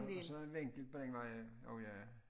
Og så en vinkel begge veje og ja